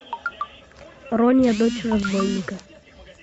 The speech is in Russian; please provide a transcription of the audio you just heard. рони дочь разбойника